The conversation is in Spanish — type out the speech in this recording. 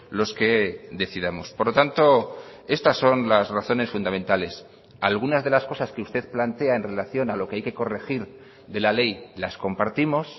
los que decidamos por lo tanto estas son las razones fundamentales algunas de las cosas que usted plantea en relación a lo que hay que corregir de la ley las compartimos